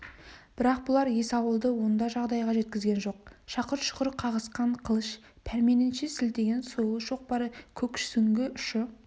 бірақ бұлар есауылды онда жағдайға жеткізген жоқ шақыр-шұқыр қағысқан қылыш пәрменінше сілтеген сойыл шоқпар көксүңгі ұшы